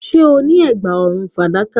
Do you have a silver necklace